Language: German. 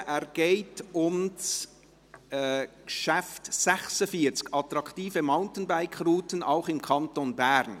Bei diesem geht es um das Traktandum 46, «Attraktive Mountainbike-Routen auch im Kanton Bern».